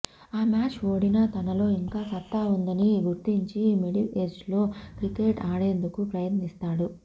ఆ మ్యాచ్ ఓడినా తనలో ఇంకా సత్తా ఉందని గుర్తించి మిడిల్ ఏజ్లో క్రికెట్ ఆడేందుకు ప్రయత్నిస్తాడు